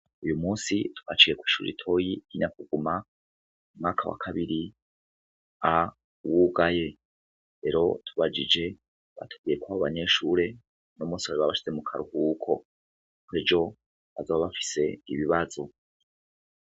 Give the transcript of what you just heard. Uyu munsi twaciye kw'ishure ritoya ry'i Nyakuguma umwaka wa kabiri A wugaye. Rero tubajije batubwiye ko abanyeshure uni munsi bari babashize mu karuhuko kuko ejo bazoba bafise ibibazo.